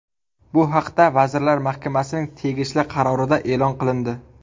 Bu haqda Vazirlar Mahkamasining tegishli qarorida e’lon qilindi .